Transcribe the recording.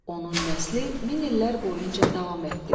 Onun nəsli min illər boyunca davam etdi.